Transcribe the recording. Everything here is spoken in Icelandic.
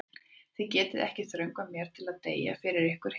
Þið getið ekki þröngvað mér til að deyja fyrir ykkur hina.